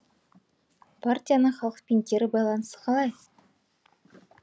партияның халықпен кері байланысы қалай